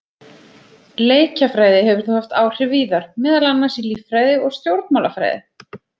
Leikjafræði hefur þó haft áhrif víðar, meðal annars í líffræði og stjórnmálafræði.